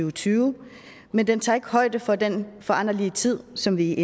og tyve men den tager ikke højde for den foranderlige tid som vi